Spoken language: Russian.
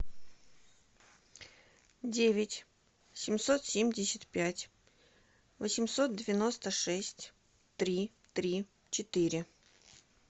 девять семьсот семьдесят пять восемьсот девяносто шесть три три четыре